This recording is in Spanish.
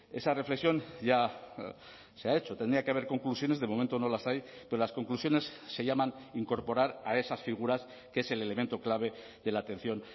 esa reflexión ya se ha hecho tendría que haber conclusiones de momento no las hay pero las conclusiones se llaman incorporar a esas figuras que es el elemento clave de la atención